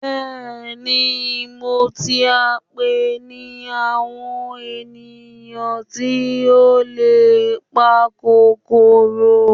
bẹẹni, Mo ti a npe ni awon eniyan ti o le pa kokoro